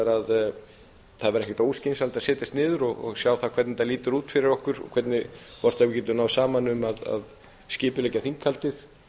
að það væri ekkert óskynsamlegt að setjast niður og sjá það hvernig þetta lítur út fyrir okkur og hvort við getum náð saman um að skipuleggja þinghaldið